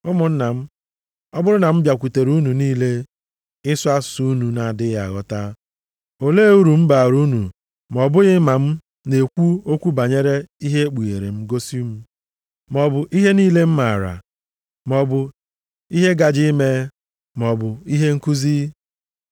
Ụmụnna m ọ bụrụ na m bịakwutere unu malite ịsụ asụsụ unu na-adịghị aghọta, ole uru m baara unu, ma ọ bụghị ma m na-ekwu okwu banyere ihe ekpughere gosi m, maọbụ ihe niile m maara, maọbụ ihe gaje ime, maọbụ ihe nkuzi?